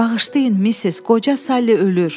Bağışlayın Missis, qoca Sally ölür.